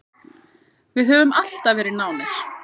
Við höfum alltaf verið nánir.